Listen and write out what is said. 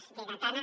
és lleidatana